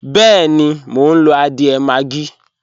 Bẹẹ́ni, mo ń lo adiẹ́ maggi